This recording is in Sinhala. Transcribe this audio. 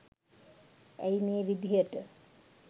ඇයි මේ විදිහට